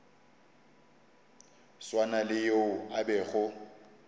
swana le yo a bego